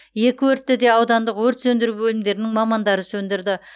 екі өртті де аудандық өрт сөндіру бөлімдерінің мамандары сөндірді